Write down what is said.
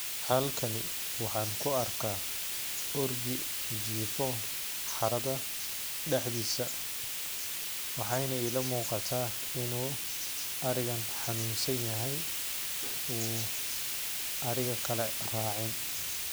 Halkani waxaan ku arkaa orgi jiifoo harada dhexdiisa. Waxayna ila muuqata inuu arrigan xanuunsan yahay uu arriga kalle raacin.